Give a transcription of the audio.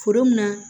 Foro mun na